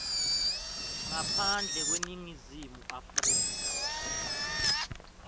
ngaphandle kweningizimu afrika